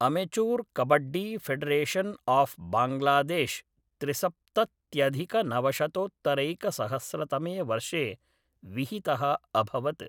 Amateur kabaddi federation of Bangladesh त्रिसप्तत्यधिकनवशतोत्तरैकसहस्रतमे वर्षे विहितः अभवत्।